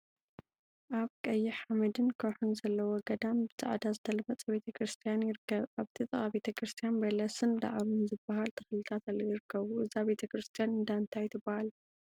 አብ ቀይሕ ሓመድን ከውሒን ዘለዎ ገዳም ብፃዕዳ ዝተለመፀ ቤተ ክርስትያን ይርከብ፡፡ እብቲ ጥቃ ቤተ ክርስትያን በለስን ዳዕሮን ዝበሃ ተክሊታት ይርከቡ፡፡ እዛ ቤተ ክርስትያን እንዳ እንታይ ትበሃል?